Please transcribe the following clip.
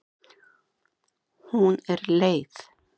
Hún er leið.